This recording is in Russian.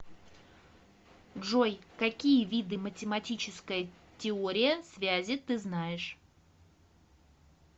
джой какие виды математическая теория связи ты знаешь